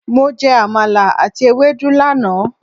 Mo jẹ Àmàlà àti Ewedu lánàá.